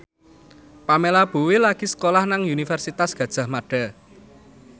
Pamela Bowie lagi sekolah nang Universitas Gadjah Mada